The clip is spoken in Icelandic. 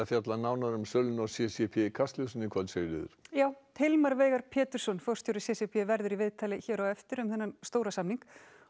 fjallað nánar um söluna á c c p í Kastljósi í kvöld Sigríður já Hilmar Veigar Pétursson forstjóri c c p verður í viðtali hér á eftir